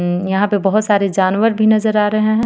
उम यहां पे बहुत सारे जानवर भी नजर आ रहे हैं.